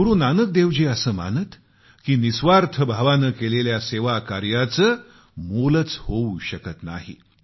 गुरूनानक देवजी असं मानत की निस्वार्थ भावानं केलेल्या सेवाकार्याचे कोणतंच मोल होऊ शकत नाही